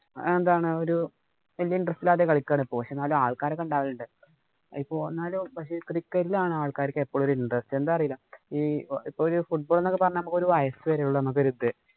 എന്താണ് ഒരു ഇല്ലാതെ കളിക്കുയാണിപ്പോ. എന്നാലും ആള്‍ക്കാരൊക്കെ ഉണ്ടാവലുണ്ട്. ഇപ്പൊ എന്നാലും cricket ഇലാണ് ആള്‍ക്കാര്‍ക്ക് എപ്പോഴും ഒരു interest. എന്താന്നറിയില്ല. ഒരു football എന്നൊക്കെ പറഞ്ഞാല്‍ ഒരു വയസ് വരെയുള്ളൂ നമുക്ക് ഒരു ഇത്.